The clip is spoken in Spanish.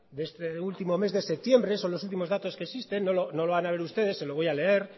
de este último mes de septiembre son los últimos datos que existen no lo van a ver ustedes se lo voy a leer